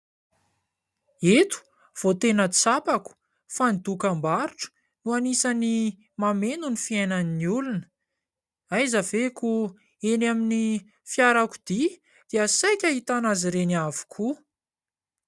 Eto vao tena tsapako fa ny dokam-barotra no anisan'ny mameno ny fiainan'ny olona. Aiza ve koa eny amin'ny fiarakodia dia saika hahitana azy ireny avokoa.